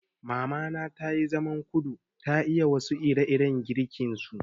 Mamana tayi zaman kudu, ta iya wasu ire-iren girkin su.